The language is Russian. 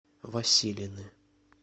василины